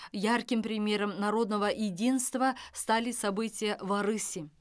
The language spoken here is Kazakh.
ярким примером народного единства стали события в арыси